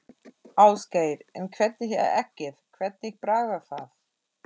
Ásgeir: En hvernig er eggið, hvernig bragðast það?